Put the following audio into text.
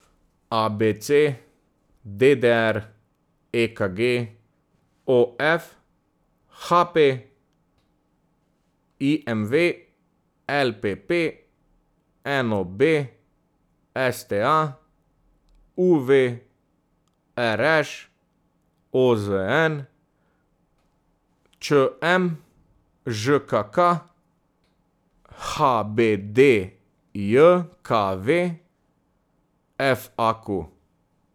A B C; D D R; E K G; O F; H P; I M V; L P P; N O B; S T A; U V; R Š; O Z N; Č M; Ž K K; H B D J K V; F A Q.